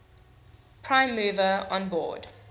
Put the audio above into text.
prime mover onboard